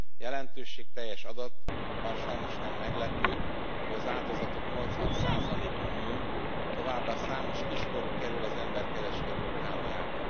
Jelentőségteljes adat, bár sajnos nem meglepő, hogy az áldozatok 80 a nő, továbbá számos kiskorú kerül az emberkereskedők hálójába.